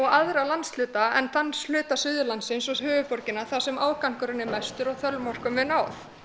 aðra landshluta en þann hluta Suðurlands eins og höfuðborgina þar sem ágangurinn er mestur og þolmörkum er náð